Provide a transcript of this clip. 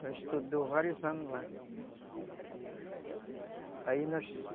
Ela estudou vários anos lá.